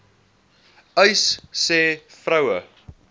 uys sê vroue